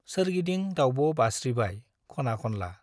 सोरगिदिं दाउब' बास्रिबाय खना - खनला ।